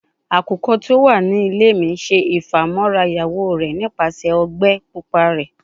Akukọ ti o wa ninu ile mi ṣe ifamọra iyawo rẹ nipasẹ ogbe pupa rẹ